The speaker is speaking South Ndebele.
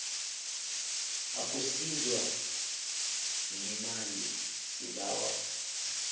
ukusizwa ngemali sibawa